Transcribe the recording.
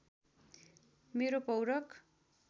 मेरो पौरख